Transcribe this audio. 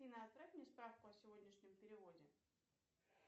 афина отправь мне справку о сегодняшнем переводе